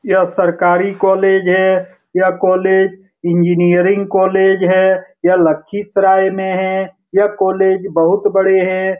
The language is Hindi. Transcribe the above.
यह सरकारी कॉलेज है यह कॉलेज इंजीनियरिंग कॉलेज है यह लखीसराय में है यह कॉलेज बहुत बड़े है।